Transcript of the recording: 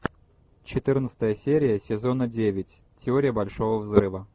четырнадцатая серия сезона девять теория большого взрыва